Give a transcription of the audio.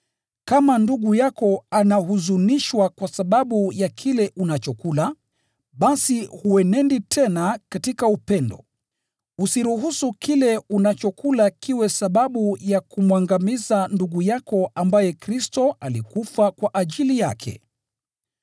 Kama ndugu yako anahuzunishwa kwa sababu ya kile unachokula, basi huenendi tena katika upendo. Usiruhusu kile unachokula kiwe sababu ya kumwangamiza ndugu yako ambaye Kristo alikufa kwa ajili yake.